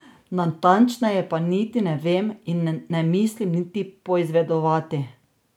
Natančneje pa niti ne vem in ne mislim niti poizvedovati.